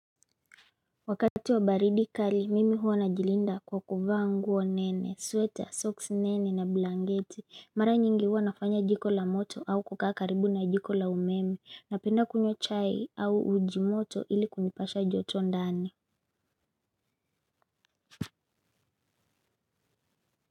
Wakati wa baridi kali mimi huwa najilinda kwa kuvaa nguo nene, sweta, soksi nene na blanketi. Mara nyingi huwa nafanya jiko la moto au kukaa karibu na jiko la umeme. Napenda kunywa chai au uji moto ili kunipasha joto ndani.